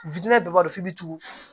witinɛ bɛɛ b'a dɔn f'i bɛ tugu